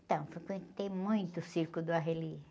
Então, frequentei muito o circo do Arrelia.